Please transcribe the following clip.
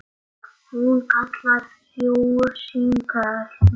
Hún kallar þrjú símtöl mörg.